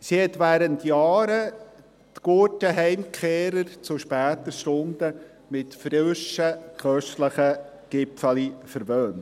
Sie hat während Jahren die Gurten-Heimkehrer zu später Stunde mit frischen, köstlichen Gipfeli verwöhnt.